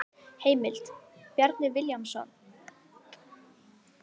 Heimild: Bjarni Vilhjálmsson.